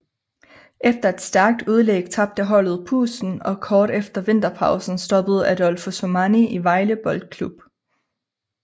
Efter et stærkt udlæg tabte holdet pusten og kort efter vinterpausen stoppede Adolfo Sormani i Vejle Boldklub